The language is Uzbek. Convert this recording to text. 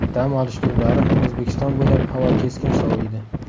Dam olish kunlari O‘zbekiston bo‘ylab havo keskin soviydi.